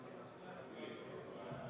Ettepanek leidis toetust.